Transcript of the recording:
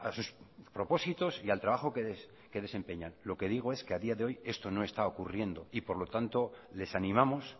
sus propósitos y al trabajo que desempeñan lo que digo es que a día de hoy esto no está ocurriendo y por lo tanto les animamos